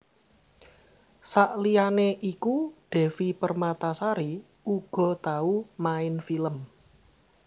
Saliyané iku Devi Permatasari uga tau main film